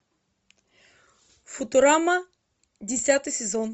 футурама десятый сезон